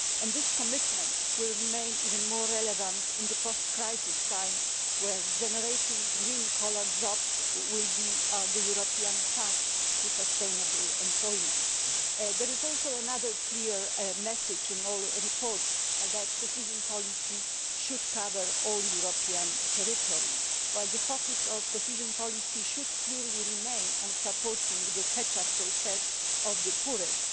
That commitment will remain even more relevant in the post crisis period, when generating green collar jobs will be the European pass to sustainable employment. There is also another clear message in all the reports, which is that cohesion policy should cover all the European territory, while the focus of cohesion policy should clearly remain on supporting the catch up process of the poorest.